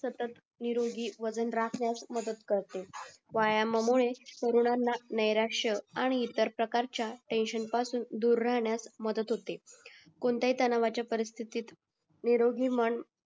सतत निरोगी राहण्यास मदत करतो व्यायामा मुळे सर्वांना नराश्य आणि इतर प्रकारच्या टेंशन पासून दुर राहण्यास मदत होते कोणत्याही तणावाच्या परिस्थितीत निरोगी मन